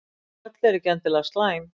Tröll eru ekki endilega slæm.